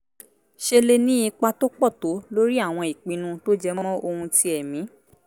ṣe lè ní ipa tó pọ̀ tó lórí àwọn ìpinnu tó jẹ mọ́ oun ti ẹ̀mí